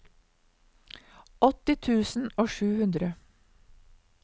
åtti tusen og sju hundre